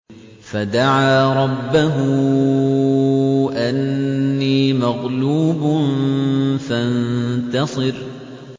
فَدَعَا رَبَّهُ أَنِّي مَغْلُوبٌ فَانتَصِرْ